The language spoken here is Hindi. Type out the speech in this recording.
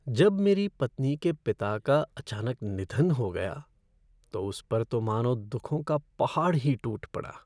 जब मेरी पत्नी के पिता का अचानक निधन हो गया तो उस पर तो मानो दुखों का पहाड़ ही टूट पड़ा।